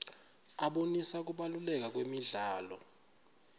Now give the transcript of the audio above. abonisa kubaluleka kwemidlalo